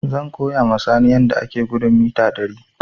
Zan koya ma Sani yadda ake gudun mita ɗari